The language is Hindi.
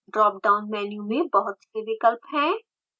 ड्राप डाउन मेन्यू में बहुत से विकल्प हैं